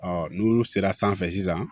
Ɔ n'olu sera sanfɛ sisan